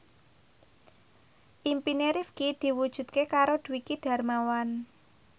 impine Rifqi diwujudke karo Dwiki Darmawan